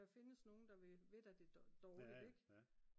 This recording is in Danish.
der findes nogen der vil dig det dårligt